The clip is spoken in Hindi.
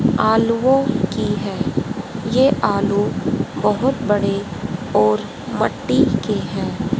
आलुओं की है ये आलू बहोत बड़े और मिट्टी के हैं।